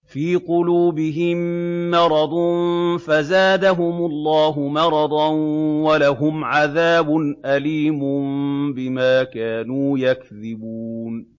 فِي قُلُوبِهِم مَّرَضٌ فَزَادَهُمُ اللَّهُ مَرَضًا ۖ وَلَهُمْ عَذَابٌ أَلِيمٌ بِمَا كَانُوا يَكْذِبُونَ